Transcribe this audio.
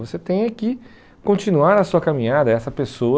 Você tem que continuar a sua caminhada, essa pessoa